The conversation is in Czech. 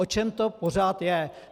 O čem to pořád je?